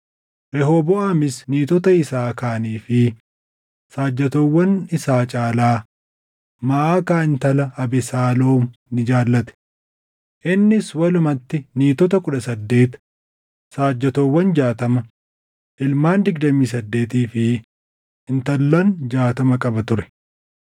Rehooboʼaamis niitotaa isaa kaanii fi saajjatoowwan isaa caalaa Maʼakaa intala Abesaaloom ni jaallate. Innis walumatti niitota kudha saddeet, saajjatoowwan jaatama, ilmaan digdamii saddeetii fi intallan jaatama qaba ture.